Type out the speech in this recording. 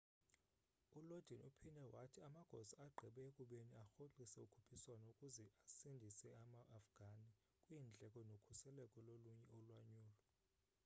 u lodin uphinde wathi amagosa agqibe ekubeni arhoxise ukhuphiswano ukuze asindise ama afghani kwiindleko nokhuseleko lolunye ulwanyulo